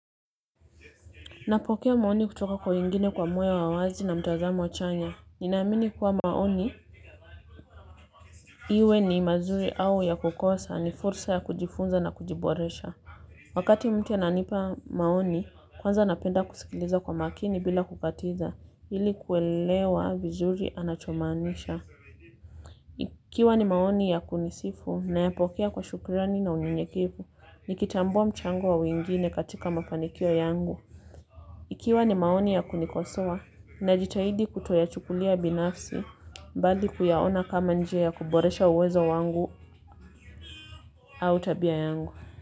Napokea maoni kutoka kwa wengine kwa moyo wa wazi na mtazamo wa chanya. Ninaamini kuwa maoni. Iwe ni mazuri au ya kukosa ni fursa ya kujifunza na kujiboresha. Wakati mtu ananipa maoni, kwanza napenda kusikiliza kwa makini bila kukatiza. Ili kuelewa vizuri anachomaanisha. Ikiwa ni maoni ya kunisifu, nayapokea kwa shukrani na unyenyekivu. Nikitambua mchango wa wingine katika mafanikio yangu. Ikiwa ni maoni ya kunikosoa na jitahidi kutoyachukulia binafsi bali kuyaona kama njia ya kuboresha uwezo wangu au tabia yangu.